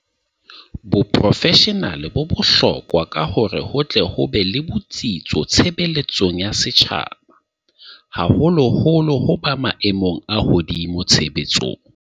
Boprofeshenale bo bohlo kwa hore ho tle ho be le botsitso tshebeletsong ya setjhaba, haholoholo ho ba maemong a hodimo tshebetsong.